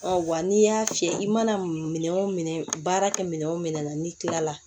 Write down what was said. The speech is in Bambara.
wa n'i y'a fiyɛ i mana minɛ o minɛ baara kɛ minɛn o minɛn na n'i tilala